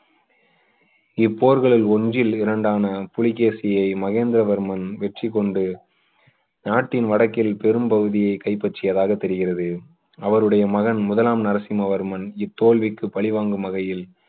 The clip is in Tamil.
போர்களில் ஒன்றில் இரண்டான புலிகேசியை மகேந்திரவர்மன் வெற்றி கொண்டு நாட்டின் வடக்கில் பெரும்பகுதியை கைப்பற்றியதாக தெரிகிறது அவருடைய மகன் முதலாம் நரசிம்மவர்மன் இத்தோல்விக்கு பழிவாங்கும் வகையில்